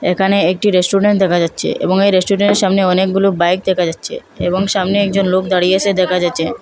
এখানে একটি রেস্টরেন্ট দেখা যাচ্চে এবং এই রেস্টুরেন্টের সামনে অনেকগুলো বাইক দেখা যাচ্চে এবং সামনে একজন লোক দাঁড়িয়ে আছে দেখা যাচ্চে।